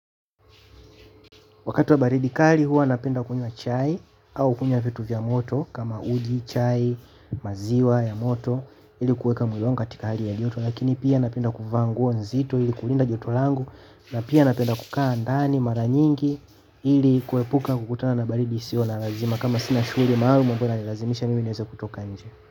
Wakati wa baridi kali huwa napenda kunywa chai au kunywa vitu vya moto kama uji, chai, maziwa ya moto ili kuweka mwili wangu katika hali ya joto, lakini pia napenda kuvaa nguo nzito ili kulinda joto langu na pia napenda kukaa ndani mara nyingi. Ili kuepuka kukutana na baridi, sio la lazima kama sina shughuli maalumu ambayo inanilazimisha mimi kutoka nje.